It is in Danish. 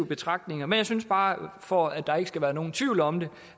betragtninger men jeg synes bare for at der ikke skal være nogen tvivl om det